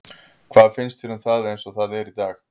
Hvað finnst þér um það eins og það er í dag?